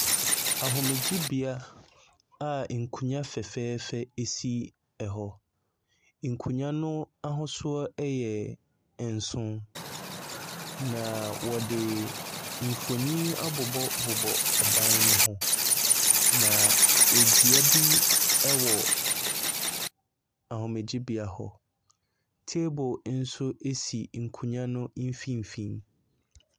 Ahomegyebea a nkonnwa fɛfɛɛfɛ si hɔ. Nkonnwa no ahosuo yɛ nson, na wɔde mfonin abobɔbobɔ ɛban no h, na dua bi wɔ ahomegyebea hɔ. Table nso si nkowwan no mfimfini.